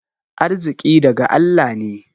Arziƙi daga Allah ne.